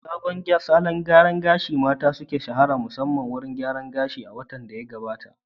Wadanne salon gyaran gashi na mata, suka shahara musamman a wurin gyaran gashi a watan da ya gabata?